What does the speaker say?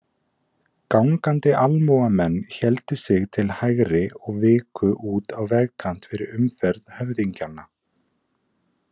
Gangandi almúgamenn héldu sig til hægri og viku út á vegkant fyrir umferð höfðingjanna.